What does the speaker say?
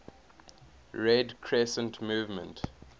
red crescent movement